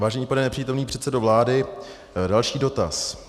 Vážený pane nepřítomný předsedo vlády, další dotaz.